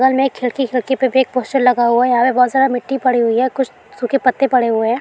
बगल में एक खिड़की खिड़की पे भी एक पोस्टर लगा हुआ है| यहां पे बहुत सारा मिट्टी पड़ी हुई है कुछ सूखे पत्ते पड़े हुए हैं।